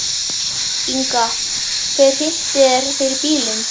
Inga: Hver hrinti þér fyrir bílinn?